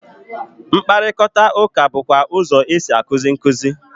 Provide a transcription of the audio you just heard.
Mkparịkọtaụka bụkwa ụzọ e si a kuzi nkuzi.